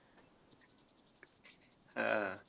हा.